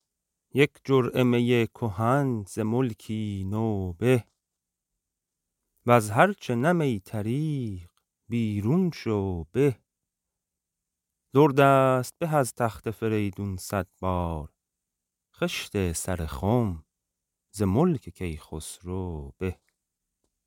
یک جرعه می کهن ز ملکی نو به وز هر چه نه می طریق بیرون شو به در دست به از تخت فریدون صد بار خشت سر خم ز ملک کیخسرو به